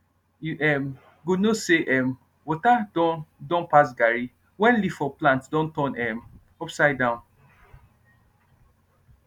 you um go know say um water don don pass garri when leaf for plant don turn um upside down